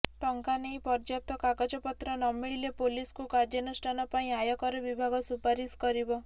ଟଙ୍କା ନେଇ ପର୍ଯ୍ୟାପ୍ତ କାଗଜପତ୍ର ନମିଳିଲେ ପୋଲିସକୁ କାର୍ଯ୍ୟାନୁଷ୍ଠାନ ପାଇଁ ଆୟକର ବିଭାଗ ସୁପାରିଶ କରିବ